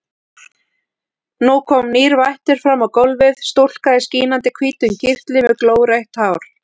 Nú kom nýr vættur fram á gólfið, stúlka í skínandi hvítum kyrtli með glórautt hár.